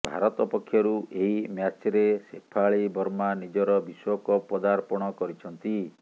ଭାରତ ପକ୍ଷରୁ ଏହି ମ୍ୟାଚ୍ରେ ଶେଫାଳି ବର୍ମା ନିଜର ବିଶ୍ବକପ୍ ପଦାର୍ପଣ କରିଛନ୍ତି